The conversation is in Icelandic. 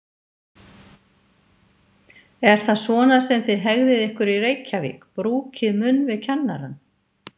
Er það svona sem þið hegðið ykkur í Reykjavík, brúkið munn við kennarann?